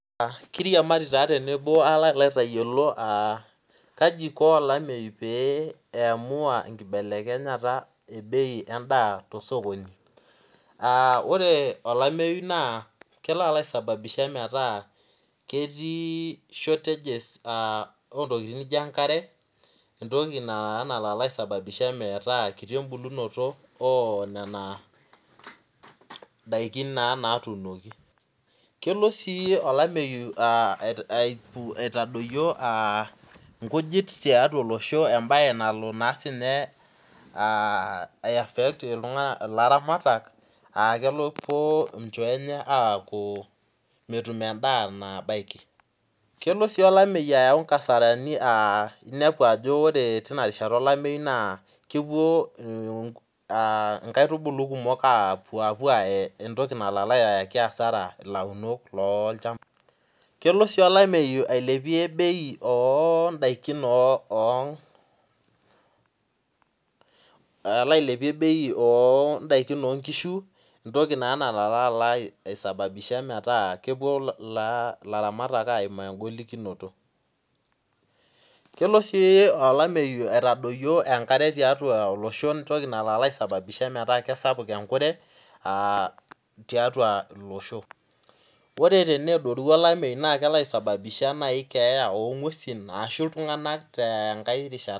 Kiriamari tenebo palo aitayiolo ajo kaiko olameyu piamua nlibelekenyara ebei endaa tosokoni ore olameyu na kelo aisababisha metaa metii enkare entoki nalo aisababisha metaa kiti embulunoto ona dakini natuunoki kelo si olameyu adoyio nkujit tiatua olosho embae nalo aifekt ilaramatak amu mepuo nchoo atum endaa nabaki kelo olamyu ayau nkasarani inepu ajo ore enkata olameyu na kepuo nkaitubulu kumol apuo ayee entoki nalo ayaki asara launok, kelo si olameyu ailepie bei ondakin onkishu e toki nalo aisababisha ajo kepuo laramatak aimaa engolikinoto kelo si olameyu aitadoyio enkare tiatua olosho entoki naisababisha peaku kesapuk enkare tiatua illoosho lre peadoru olameyu na kelo aisababisha keeya ongwesi ashu ltunganak